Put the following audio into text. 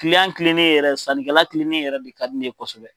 kilennen yɛrɛ sannikɛla kilennen yɛrɛ de ka di ne ye kosɛbɛ.